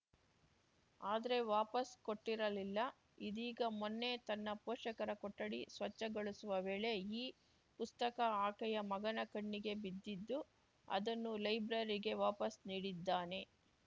ಆದ್ರೆ ವಾಪಸ್‌ ಕೊಟ್ಟಿರಲಿಲ್ಲ ಇದೀಗ ಮೊನ್ನೆ ತನ್ನ ಪೋಷಕರ ಕೊಠಡಿ ಸ್ವಚ್ಛಗೊಳಿಸುವ ವೇಳೆ ಈ ಪುಸ್ತಕ ಆಕೆಯ ಮಗನ ಕಣ್ಣಿಗೆ ಬಿದ್ದಿದ್ದು ಅದನ್ನು ಲೈಬ್ರರಿಗೆ ವಾಪಸ್‌ ನೀಡಿದ್ದಾನೆ